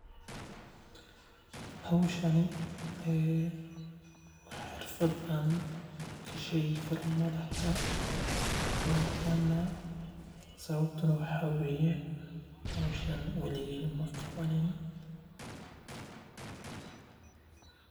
Howshan waa xirfad aan ka sheegi karo malaha sababta waxaa waye howshan weligeey maqabanin.